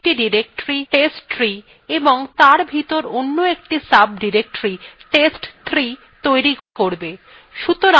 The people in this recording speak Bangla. এটি একটি directory testtree এবং তার ভিতর অন্য একটি সাবdirectory test3 তৈরি করবে